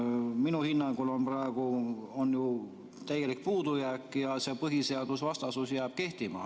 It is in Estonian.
Minu hinnangul on praegu ju täielik puudujääk ja see põhiseadusvastasus jääb kehtima.